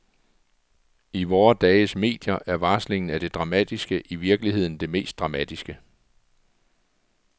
I vore dages medier er varslingen af det dramatiske i virkeligheden det mest dramatiske.